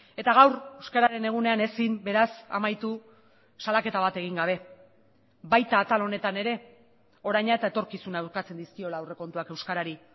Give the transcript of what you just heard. eta gaur euskararen egunean ezin beraz amaitu salaketa bat egin gabe baita atal honetan ere oraina eta etorkizuna ukatzen dizkiola aurrekontuak euskarari